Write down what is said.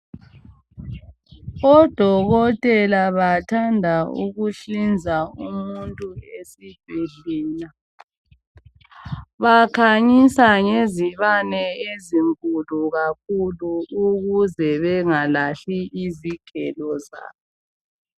ODokotela bathanda ukuhlinza umuntu esibhedlela. Bakhanyisa ngezibane ezinkulu kakhulu ukuze bengalahli izigelo zabo.